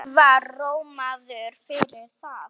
Hann var rómaður fyrir það.